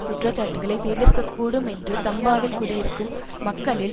குற்றச்சாட்டுக்களை செய்திருக்கக் கூடும் என்று தம்பாவில் குடியிருக்கும் மக்களில்